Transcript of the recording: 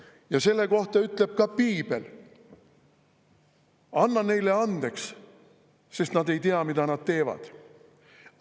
Ja selle kohta ütleb ka piibel: anna neile andeks, sest nad ei tea, mida nad teevad.